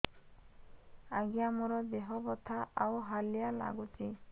ଆଜ୍ଞା ମୋର ଦେହ ବଥା ଆଉ ହାଲିଆ ଲାଗୁଚି